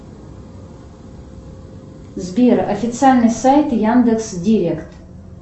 сбер официальный сайт яндекс директ